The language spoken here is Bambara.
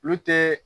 Olu tɛ